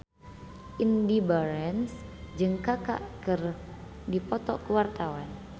Indy Barens jeung Kaka keur dipoto ku wartawan